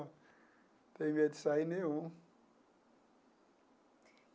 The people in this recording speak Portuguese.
Não tenho medo de sair nenhum.